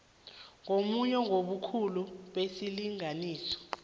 ngamunye ngobukhulu besilinganiso